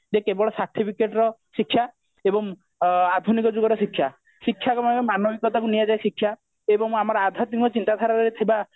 ଯେ କେବଳ certificate ର ଶିକ୍ଷା ଏବଂ ଅ ଆଧୁନିକ ଯୁଗର ଶିକ୍ଷା ଶିକ୍ଷା ର ମାନବିକତାକୁ ନିଆଯାଏ ଶିକ୍ଷା ଏବଂ ଆମର ଆଧ୍ୟାତ୍ମିକ ଚିନ୍ତା ଧାରାରେ ଥିବା